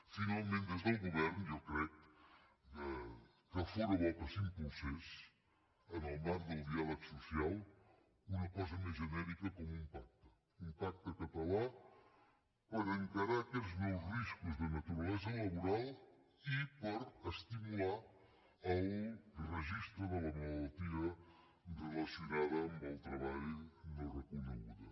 finalment des del govern jo crec que fóra bo que s’impulsés en el marc del diàleg social una cosa més genèrica com un pacte un pacte català per encarar aquests nous riscos de naturalesa laboral i per estimular el registre de la malaltia relacionada amb el treball no reconeguda